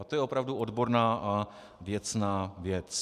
A to je opravdu odborná a věcná věc.